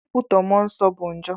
Ikwutọ Mụọ Nsọ bụ njọ.